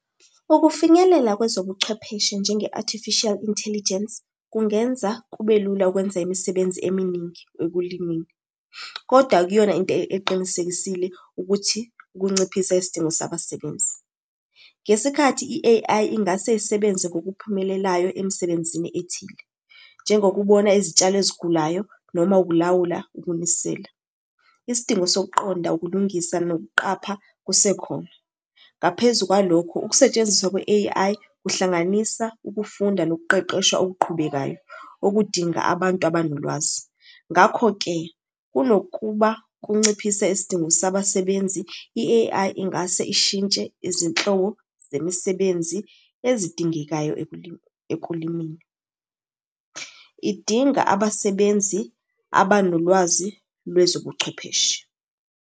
Ukufinyelela kwezobuchwepheshe njenge-Artificial Intelligence, kungenza kube lula ukwenza imisebenzi eminingi ekulimeni, koda akuyona into eqinisekisile ukuthi ukunciphisa isidingo sabasebenzi. Ngesikhathi i-A_I ingase isebenze ngokuphumelelayo emsebenzini ethile, njengokubona izitshalo ezigulayo noma ukulawula ukunisela. Isidingo sokuqonda ukulungisa nokuqapha kusekhona. Ngaphezu kwalokhu, ukusetshenziswa kwe-A_I kuhlanganisa ukufunda nokuqeqeshwa okuqhubekayo, okudinga abantu abanolwazi. Ngakho-ke, kunokuba kunciphise isidingo sabasebenzi, i-A_I ingase ishintshe izinhlobo zemisebenzi ezidingekayo ekulimeni. Idinga abasebenzi abanolwazi lwezobuchwepheshe.